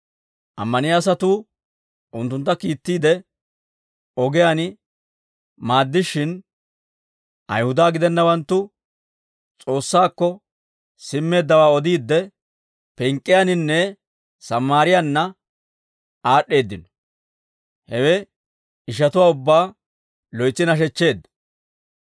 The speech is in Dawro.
Ammaniyaa asatuu unttuntta kiittiide ogiyaan maaddishshin, Ayihuda gidennawanttu S'oossaakko simmeeddawaa odiidde, Pink'k'iyaannanne Sammaariyaanna aad'd'eeddino; hewe ishatuwaa ubbaa loytsi nashechcheedda.